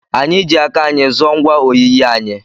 Anyị ji aka anyị zụọ ngwa oyiyi anyị.